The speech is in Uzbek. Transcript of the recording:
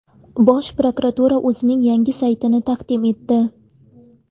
Bosh prokuratura o‘zining yangi saytini taqdim etdi.